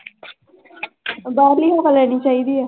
ਬਾਹਰਲੀ ਹਵਾ ਲੈਣੀ ਚਾਹੀਦੀ ਹੈ।